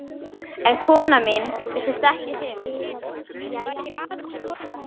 En konan mín virtist ekkert hrifin